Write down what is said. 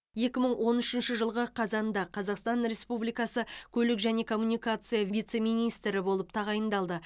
екі мың он үшінші жылғы қазанда қазақстан республикасы көлік және коммуникация вице министрі болып тағайындалды